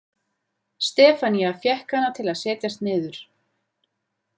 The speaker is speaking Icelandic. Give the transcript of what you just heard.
Stefanía fékk hana til að setjast niður.